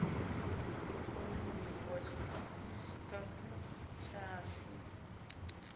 kone u livhuwa tshitafu tshashu